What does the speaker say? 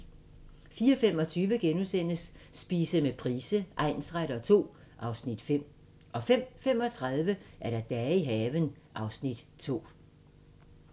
04:25: Spise med Price egnsretter II (Afs. 5)* 05:35: Dage i haven (Afs. 2)